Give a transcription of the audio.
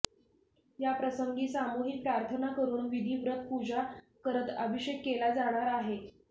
याप्रसंगी सामुहीक प्रार्थना करुन विधीव्रत पुजा करत अभिषेक केला जाणार आहे